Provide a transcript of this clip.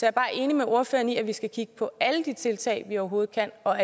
er bare enig med ordføreren i at vi skal kigge på alle de tiltag vi overhovedet kan og